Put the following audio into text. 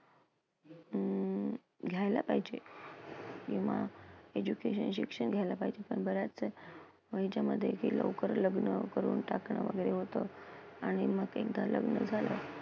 अं घ्यायला पाहिजे. किंवा education शिक्षण घ्यायला पाहिजे. आणि बऱ्याचदा मुलींच्यामध्ये लवकर लग्न करून टाकणं वगैरे होतं, आणि मग एकदा लग्न झाल,